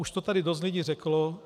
Už to tady dost lidí řeklo.